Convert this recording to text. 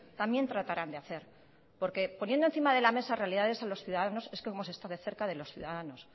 también tratarán de hacer porque poniendo encima de la mesa realidades a los ciudadanos es como se está de cerca de los ciudadanos